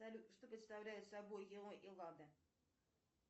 салют что представляю собой